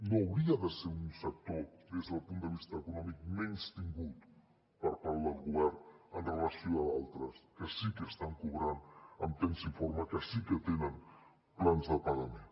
no hauria de ser un sector des del punt de vista econòmic menystingut per part del govern amb relació a d’altres que sí que estan cobrant en temps i forma que sí que tenen plans de pagament